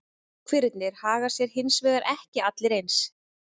Goshverirnir haga sér hins vegar ekki allir eins.